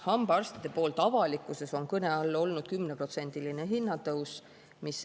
" Hambaarstide puhul on avalikkuses kõne all olnud 10%-line hinnatõus.